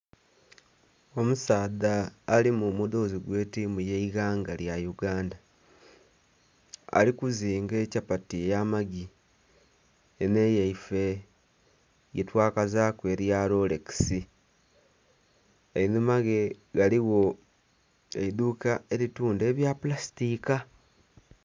Omusaadha ali mu mudhozi gwe tiimu ye eighanga lya Uganda, ali kuzinganekyapati eya magi enho etwise yetwakazaku erya lolekisi einhuma ghe ghaligho eiduuka eritundha ebya pulasitika.